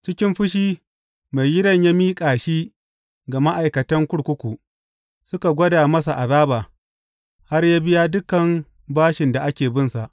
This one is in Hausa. Cikin fushi, maigidan ya miƙa shi ga ma’aikatan kurkuku su gwada masa azaba, har yă biya dukan bashin da ake binsa.